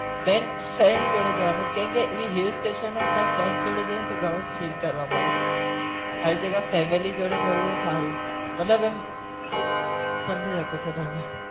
Friend જ્હોડે જવાન